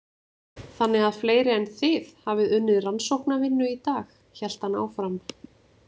Þannig að fleiri en þið hafið unnið rannsóknavinnu í dag, hélt hann áfram.